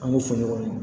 An k'u fɔ ɲɔgɔn kɔ